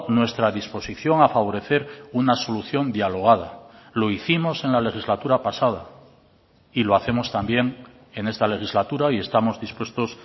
nuestra disposición a favorecer una solución dialogada lo hicimos en la legislatura pasada y lo hacemos también en esta legislatura y estamos dispuestos